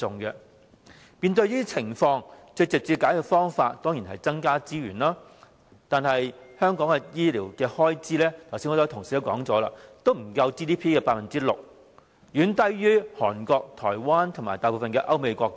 面對這些情況，最直接的解決方法當然是增加資源，但正如剛才很多同事指出，香港的醫療開支不足 GDP 的 6%， 遠低於韓國、台灣及大部分歐美國家。